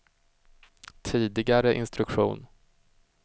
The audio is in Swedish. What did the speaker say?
tidigare instruktion